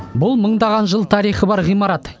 бұл мыңдаған жыл тарихы бар ғимарат